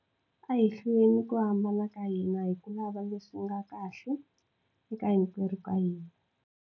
A hi hluleni ku hambana ka hina hi ku lava leswi nga kahle eka hinkwerhu ka hina.